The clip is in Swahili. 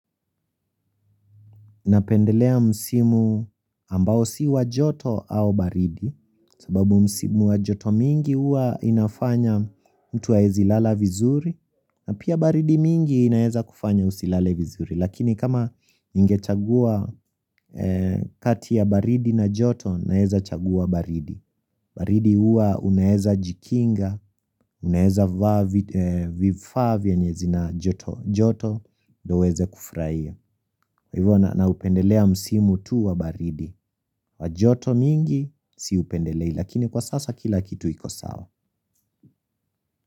Napendelea msimu ambao si wa joto au baridi sababu msimu wa joto mingi uwa inafanya mtuwa ezilala vizuri na pia baridi mingi inaeza kufanya usilale vizuri Lakini kama inge chagua kati ya baridi na joto naeza chagua baridi baridi uwa unaeza jikinga, unaeza vifavya nyezi na joto joto do uweze kufurahia. Hivyo na upendelea msimu tu wa baridi wa joto mingi siupendelei lakini kwa sasa kila kitu ikosawa.